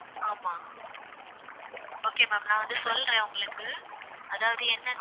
ஆமா okay ma'am நான் வந்து சொல்றேன் உங்களுக்கு அதாவது என்னன்னா